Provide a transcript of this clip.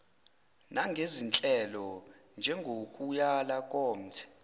nangezinhlelo njengokuyala komthe